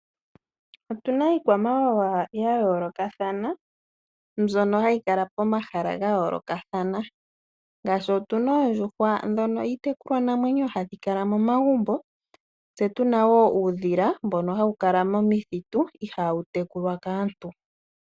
Otuna iikwamawawa ya yoolokathana, mbyono hayi kala pomahala ga yoolokathana ngashi otuna oondjuhwa dhono hadhi kala momagumbo, tse tuna wo uudhila mbono hawu kala momakuti, ihawu tekulwa kaantu.